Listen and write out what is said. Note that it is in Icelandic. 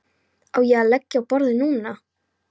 Á ég að leggja á borðið núna?